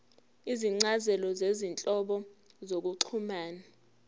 izincazelo zezinhlobo zokuxhumana